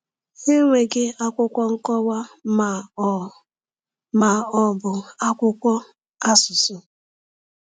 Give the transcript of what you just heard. Ha enweghị akwụkwọ nkọwa ma ọ ma ọ bụ akwụkwọ asụsụ.